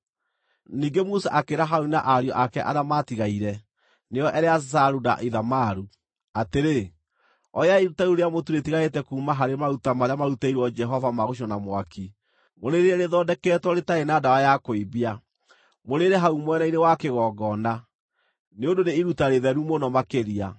Ningĩ Musa akĩĩra Harũni na ariũ ake arĩa maatigaire, nĩo Eleazaru na Ithamaru, atĩrĩ, “Oyai iruta rĩu rĩa mũtu rĩatigarĩte kuuma harĩ maruta marĩa maarutĩirwo Jehova ma gũcinwo na mwaki, mũrĩrĩe rĩthondeketwo rĩtarĩ na ndawa ya kũimbia, mũrĩĩre hau mwena-inĩ wa kĩgongona, nĩ ũndũ nĩ iruta rĩtheru mũno makĩria.